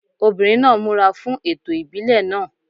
Obìnrin náà múra fún ẹ̀tọ́ ìbílẹ̀ náà.